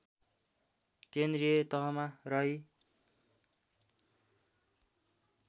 केन्द्रीय तहमा रही